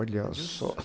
Olha só.